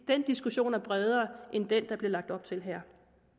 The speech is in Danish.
den diskussion er bredere end den der bliver lagt op til her